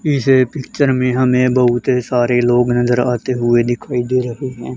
पीछे पिक्चर में हमें बहुत सारे लोग नजर आते हुए दिखाई दे रहे हैं।